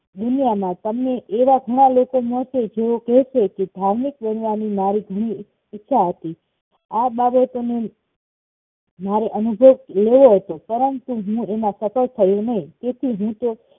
દુનિયામાં તમને એવા ઘણા લોકો મળશે જેઓ કહેશે ધાર્મિક બનવાની મારી ઘણી ઈચ્છા હતી આ બાબતોનું મારે અનુભવ લેવો હતો પરંતુ હું એમાં સફળ થયો નહિ તેથી હું તો